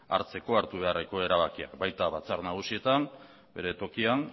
hartzeko hartu beharreko erabakiak baita batzar nagusietan bere tokian